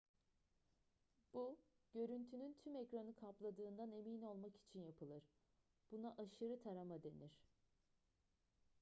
bu görüntünün tüm ekranı kapladığından emin olmak için yapılır buna aşırı tarama denir